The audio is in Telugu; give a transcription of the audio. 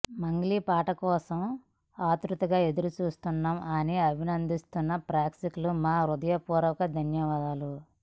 మంగ్లీ పాట కోసం ఆత్రుతగా ఎదురు చూస్తున్నాం అని అభినందిస్తున్న ప్రేక్షుకులు మా హృదయపూర్వక ధన్యవాదాలు